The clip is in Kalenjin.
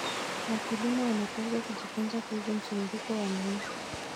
Wakulima wanapaswa kujifunza kuhusu mzunguko wa mimea.